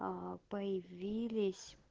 появились